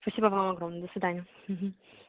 спасибо вам огромное до свидания угу